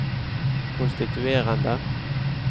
konstituerende